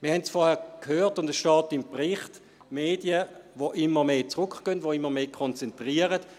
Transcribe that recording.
Wir haben es vorhin gehört, und es steht im Bericht: Medien, die immer mehr zurückgehen, die immer mehr konzentrieren.